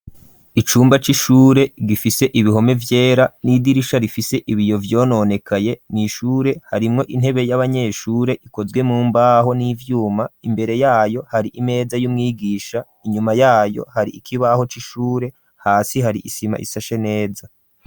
Icumba c'ishure gifise ibihome vyera n'idirisha rifise ibiyo vyononekaye n'ishure harimwo intebe y'abanyeshure ikozwe mu mbaho n'ivyuma imbere yayo hari imeza y'umwigisha inyuma yayo hari ikibaho c'ishure hasi hari isima isashe neza.